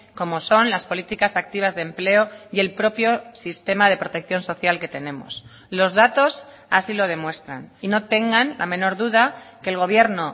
como son las políticas activas de empleo y el propio sistema de protección social que tenemos los datos así lo demuestran y no tengan la menor duda que el gobierno